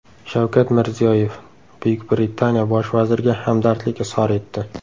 Shavkat Mirziyoyev Buyuk Britaniya bosh vaziriga hamdardlik izhor etdi.